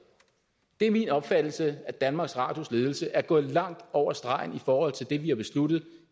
det er min opfattelse at danmarks radios ledelse er gået langt over stregen i forhold til det vi har besluttet